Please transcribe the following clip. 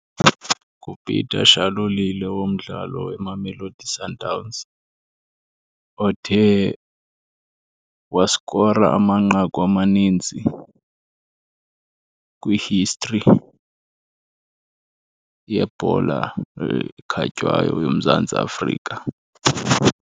NguPeter Shalulile womdlalo weMamelodi Sundowns othe waskora amanqaku amaninzi kwi-history yebhola ekhatywayo yoMzantsi Afrika.